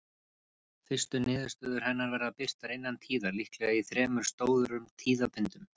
Fyrstu niðurstöður hennar verða birtar innan tíðar, líklega í þremur stórum tíðabindum.